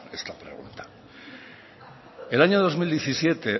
esta pregunta el año dos mil diecisiete